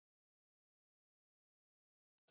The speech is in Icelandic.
Það væri svo voðalega leiðinlegt að vera til.